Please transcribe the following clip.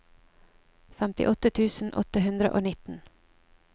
femtiåtte tusen åtte hundre og nitten